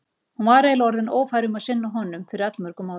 Hún var eiginlega orðin ófær um að sinna honum fyrir allmörgum árum.